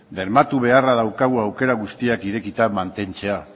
bermatu beharra daukagu aukera guztiak irekita mantentzea